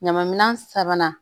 Ɲama minɛ sabanan